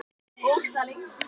Þetta var klárt.